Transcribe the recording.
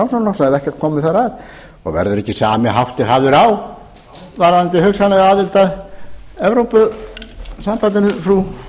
innan framsóknarflokksins hafi ekkert komið þar að verður ekki sami háttur hafður á varðandi hugsanlega aðild að evrópusambandinu frú